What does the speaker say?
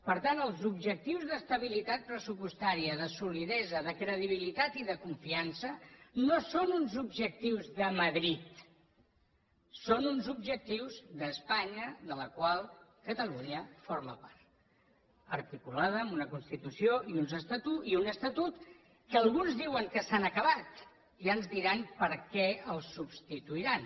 per tant els objectius d’estabilitat pressupostària de solidesa de credibilitat i de confiança no són uns objectius de madrid són uns objectius d’espanya de la qual catalunya forma part articulada amb una constitució i un estatut que alguns diuen que s’han acabat ja ens diran per què els substituiran